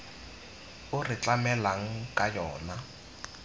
o re tlamelang ka yona